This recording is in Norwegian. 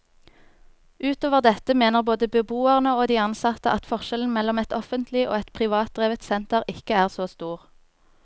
Utover dette mener både beboerne og de ansatte at forskjellen mellom et offentlig og et privatdrevet senter ikke er så stor.